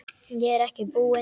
Ég er ekki búinn.